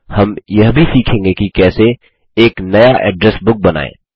हम यह भी सीखेंगे कि कैसे एक नया एड्रेस बुक बनाएँ